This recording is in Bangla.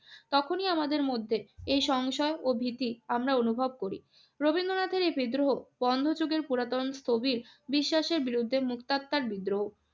তখনই আমাদের মধ্যে এই সংশয় ও ভীতি আমরা অনুভব করি। রবীন্দ্রনাথের এই বিদ্রোহ বন্ধযুগের পুরাতন স্থবির বিশ্বাসের বিরুদ্ধে মুক্তাত্মার বিদ্রোহ।